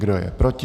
Kdo je proti?